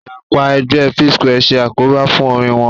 Ìyapa ẹgbẹ́ Psquare ṣe àkóbá fún orin wọn